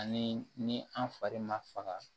Ani ni an fari ma faga